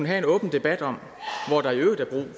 have en åben debat om